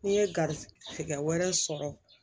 N'i ye gari tigɛ wɛrɛ sɔrɔ